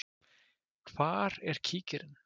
Hvar er kíkirinn?